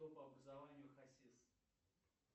кто по образованию хасис